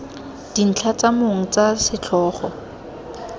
dintlha tsa mong tsa setlhogo